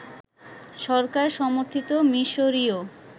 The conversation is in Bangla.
সরকার সমর্থিত মিশরীয়